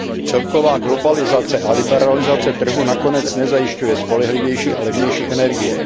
Celková globalizace a liberalizace trhu nakonec nezajišťuje spolehlivější a levnější energie.